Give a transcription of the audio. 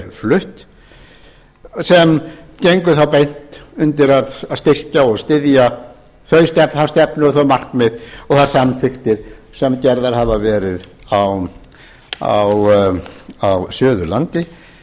flutt sem gengur þá beint undir að styrkja og styðja þá stefnu og þau markmið og þær samþykktir sem gerðar hafa gerð á suðurlandi